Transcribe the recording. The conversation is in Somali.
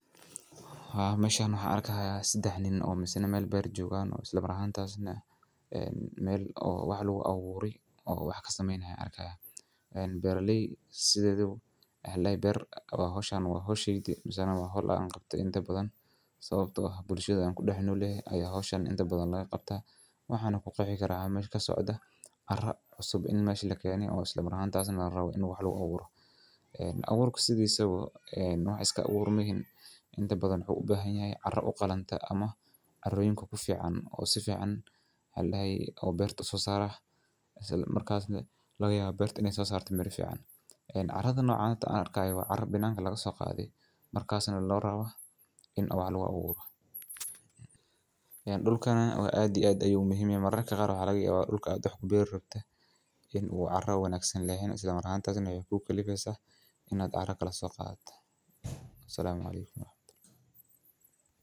Waxaa meshaan waxa arka ah sidex nin oo masani meel ber joogaan. Isla markaanta aad u sano, meel oo wuxuu lagu awooray oo wax ka samaynaya arka ah. En berlay sidadu la ber. Waa hawshan waa hawsheytii masani waa hol aan qabta inta badan sababtoo ah bulshada aan ku dhex nolay ayaa hawshan inta badan laga qabtay. Waxaan u qeexi karaa meshan ka socda carra cusub in meeshi la keeniyo. Isla markaanta aad u raawo inuu wuxuu la awooray awuurku sidii sababo nuuc iska awoor mehin inta badan u bahanyahay carra u qalanta ama caroyin kugu fiican oo si fiican la hay. Oo birta soo saar ah markaasna laga yaab birte inee soo saartay mira fiican carrada noocaan taas arka ayaa carar binaanka laga soo qaaday. Markaasna la raawo in awwal awoor ah in dhulkaana oo aadi aad ayuu muhimma maran ka kara layaba. dulka aad u xubin rabta in uu carra wanaagsi laheyn. Isla markaanta aadan hayo buugga liiska in adag kala soo qaat. Wassalamu alaykum.